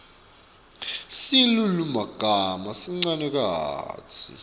silulumagama sincane kantsi